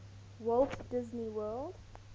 walt disney world